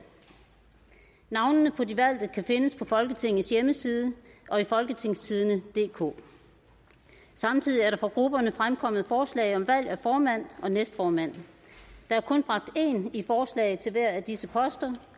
navnene på de valgte kan findes på folketingets hjemmeside og i folketingstidende samtidig er der fra grupperne fremkommet forslag om valg af formand og næstformand der er kun bragt én i forslag til hver af disse poster